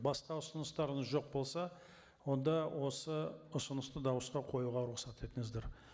басқа ұсыныстарыңыз жоқ болса онда осы ұсынысты дауысқа қоюға рұқсат етіңіздер